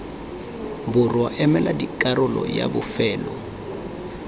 borwa emela karolo yay bofelo